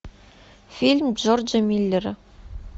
фильм джорджа миллера